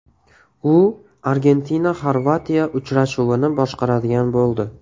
U ArgentinaXorvatiya uchrashuvini boshqaradigan bo‘ldi.